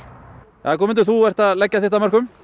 jæja Guðmundur þú ert að leggja þitt af mörkum